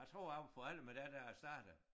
Jeg tror jeg var på alder med dig da jeg startede